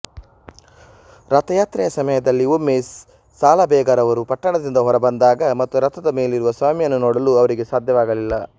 ರಥಯಾತ್ರೆಯ ಸಮಯದಲ್ಲಿ ಒಮ್ಮೆ ಸಾಲಬೇಗರವರು ಪಟ್ಟಣದಿಂದ ಹೊರಬಂದಾಗ ಮತ್ತು ರಥದ ಮೇಲಿರುವ ಸ್ವಾಮಿಯನ್ನು ನೋಡಲು ಅವರಿಗೆ ಸಾಧ್ಯವಾಗಲಿಲ್ಲ